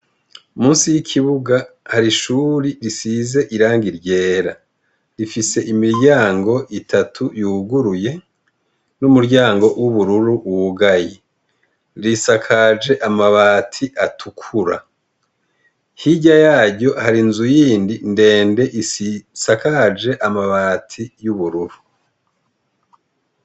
Munsi y' ikibuga har 'ishuri risiz' irangi ryera rifis' imiryang' itatu yuguruye, n umuryango w'ubururu wugaye, risakaj' amabat 'atukura, hirya yaryo har' inzu yindi ndende isakaj' amabati y' ubururu.